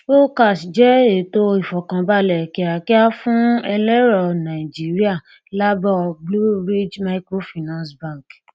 okash jẹ ètò ìfọkànbálẹ kíákíá fún ẹlẹrọ nàìjíríà láàbọ blue ridge microfinance bank